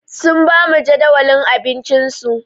Sun ba mu jadawalin abincinsu.